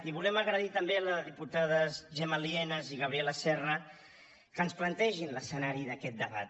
i volem agrair també a les diputades gemma lienas i gabriela serra que ens plantegin l’escenari d’aquest debat